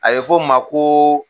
A ye fɔ o ma ko